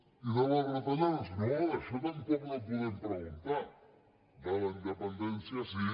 i sobre les retallades no sobre això tampoc no podem preguntar sobre la independència sí